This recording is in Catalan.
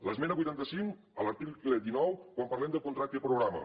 l’esmena vuitanta cinc a l’article dinou quan parlem del contracte programa